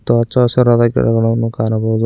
ಮತ್ತು ಹಚ್ಚ ಹಸಿರಾದ ಗಿಡಗಳನ್ನು ಕಾಣಬಹುದು.